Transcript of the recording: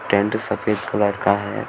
Tent सफेद colour का है।